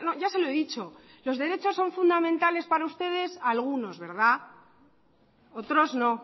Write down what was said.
ya se lo he dicho los derechos son fundamentales para ustedes algunos verdad otros no